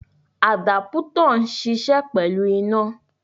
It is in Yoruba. Àdápútọ̀ ń ṣiṣẹ́ pẹ̀lú iná.